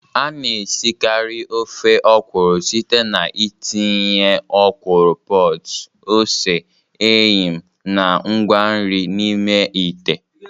A na-esikarị ofe ọkwụrụ site n'ịtinye ọkwụrụ pods, ose, eyịm, na ngwa nri n'ime ite.